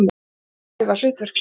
Söngvarar æfa hlutverk sín.